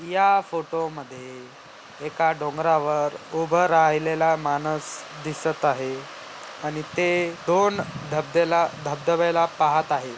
या फोटो मध्ये एका डोंगरवार उभ राहिलेला माणस दिसत आहे आणि ते दोन धब्द्याला-- धबधब्याला पाहत आहेत.